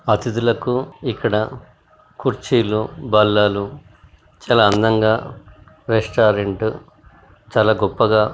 అతిధులకు ఇక్కడ కుర్చీలు బల్లలు చాలా అందంగా రెస్త్రారెంట్ చాలా గొప్పగా --